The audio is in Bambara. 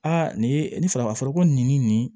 Aa nin ye nin fara a fɔra ko nin ni nin nin